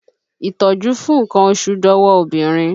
Ìtọ́jú fún nkan oṣù dọwọ́ obìnrin